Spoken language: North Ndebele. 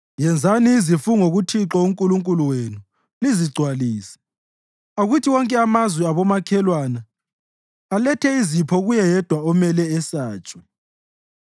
Yenzani izifungo kuThixo uNkulunkulu wenu lizigcwalise; akuthi wonke amazwe abomakhelwana alethe izipho kuye Yedwa omele esatshwe.